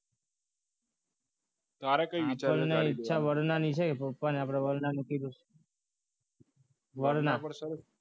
તારે કંઈ બિચારી આપણને વિચાર છે વરનાની પણ આપણે પપ્પાને વરના કીધું છે વરના